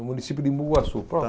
No município de Embu-Guaçu.